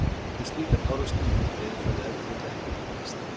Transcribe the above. Við slíkan árekstur mundi veðurfarið ef til vill ekki breytast.